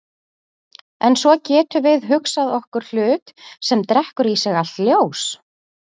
En svo getum við hugsað okkur hlut sem drekkur í sig allt ljós.